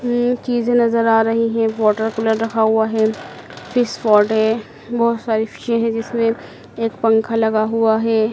हमम चीजें नज़र आ रही हैं वाटर कूलर रखा हुआ है फिश पॉट है बहोत सारी फिशे हैं जिसमें एक पंखा लगा हुआ है।